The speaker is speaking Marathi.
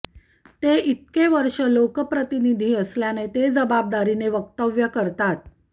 ते इतके वर्ष लोकप्रतिनिधी असल्याने ते जबाबदारीने वक्तव्य करतात